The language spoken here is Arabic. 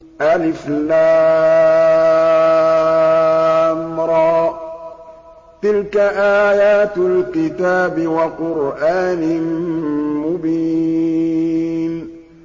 الر ۚ تِلْكَ آيَاتُ الْكِتَابِ وَقُرْآنٍ مُّبِينٍ